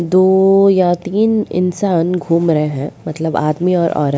दो या तीन इंसान घूम रहे है मतलब आदमी और औरत।